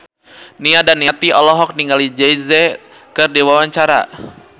Nia Daniati olohok ningali Jay Z keur diwawancara